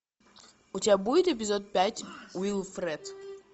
у тебя будет эпизод пять уилфред